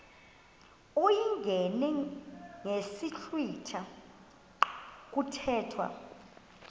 uyingene ngesiblwitha kuthethwa